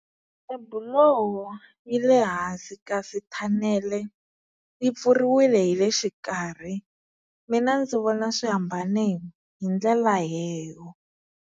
Tibiloho yi le hansi kasi thanele yi pfuriwile hi le xikarhi mina ndzi vona swi hambane hi ndlela leyo.